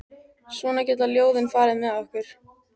Svona geta ljóðin farið með okkur.